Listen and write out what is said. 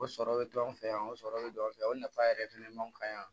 O sɔrɔ bɛ to an fɛ yan o sɔrɔ bɛ an fɛ o nafa yɛrɛ fana man kan yan